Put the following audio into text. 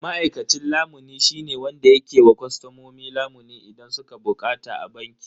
Ma'aikacin lamuni shine wanda yake ba wa kostomomi lamuni idan sun bukata a banki.